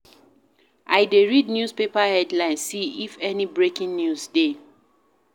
I dey read newspaper headline see if any breaking news dey.